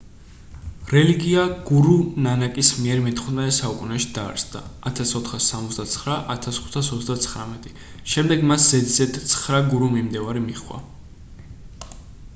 რელიგია გურუ ნანაკის მიერ მე-15 საუკუნეში დაარსდა 1469-1539. შემდეგ მას ზედიზედ ცხრა გურუ მიმდევარი მიჰყვა